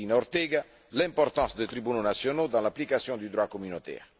Medina Ortega, l'importance des tribunaux nationaux dans l'application du droit communautaire.